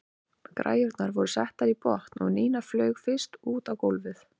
Græjurnar voru settar í botn og Nína flaug fyrst út á gólfið.